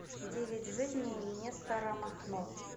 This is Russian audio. девять жизней нестора махно